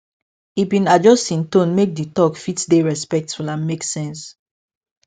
e bin adjust hin tone make the talk fit dey respectful and make sense